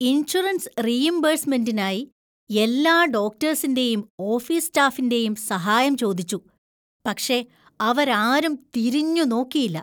Insurance റീഇംബേഴ്‌സ്‌മെന്‍റിനായി എല്ലാ ഡോക്ടേഴ്സിന്‍റെയും ഓഫീസ് സ്റ്റാഫിന്‍റെയും സഹായം ചോദിച്ചു. പക്ഷേ അവരാരും തിരിഞ്ഞു നോക്കിയില്ല.